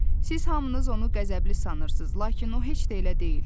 Siz hamınız onu qəzəbli sanırsınız, lakin o heç də elə deyil.